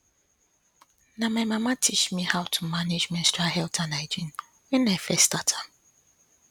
na my mama teach me how to manage menstrual health and hygiene when i first start am